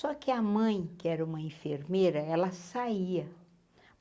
Só que a mãe, que era uma enfermeira, ela saía.